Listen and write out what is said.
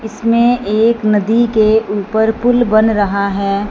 इसमें एक नदी के ऊपर पुल बन रहा है।